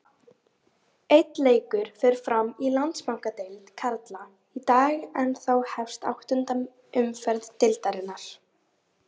Einn leikur fer fram í Landsbankadeild karla í dag en þá hefst áttunda umferð deildarinnar.